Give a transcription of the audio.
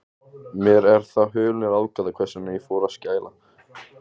Mér er það hulin ráðgáta, hvers vegna ég fór að skæla.